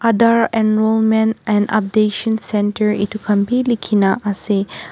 Aadhar enrollment and updation center etu khan bhi likhi na ase.